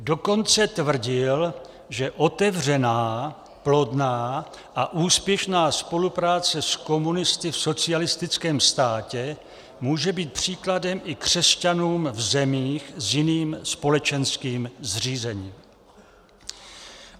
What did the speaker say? Dokonce tvrdil, že otevřená, plodná a úspěšná spolupráce s komunisty v socialistickém státě může být příkladem i křesťanům v zemích s jiným společenským zřízením.